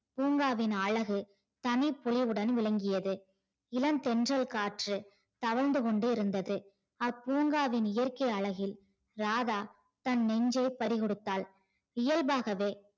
பூங்காவின் அழகு தனி பொலிவுடன் விளங்கியது. இலன் தென்றல் காற்று தவழ்ந்து கொண்டிருந்தது அப்பூங்காவின் இயற்க்கை அழகில் ராதா தன நெஞ்சே பரிகொடுத்தாள். இயல்பாகவே